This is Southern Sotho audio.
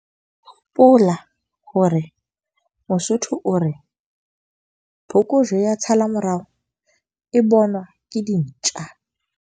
Hopola hore Mosotho o re, phokojwe ya tshala-morao e bonwa ke dintja.